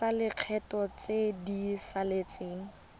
tsa lekgetho tse di saletseng